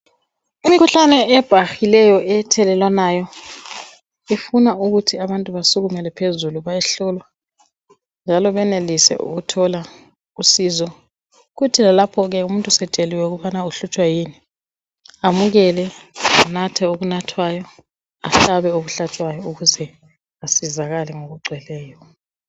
Imkhuhlane ebhahileyo ethelelwanayo ifuna ukuthi abantu basukumele phezulu bayehlolwa njalo benelise ukuthola usizo kuthi lalapho umuntu esetsheliwe ukubana ukutshwa yini amukele anathe okunathwayo ahlabe okuhlatshwayo ukuze asizakale ngokugcweleyo